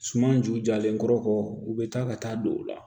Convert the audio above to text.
Suman ju jalen kɔrɔ kɔ u bɛ taa ka taa don u la